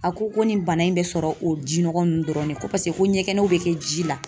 A ko ko nin bana in bɛ sɔrɔ o ji nɔgɔ ninnu dɔrɔnw de la ko paseke, ko ɲɛgɛnɛw bɛ kɛ ji la.